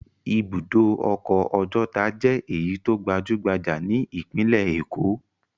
Ibùdó ọkọ̀ Ọjọ́ta jẹ́ èyí tó gbajú-gbajà ní ìpínlẹ̀ Èkó.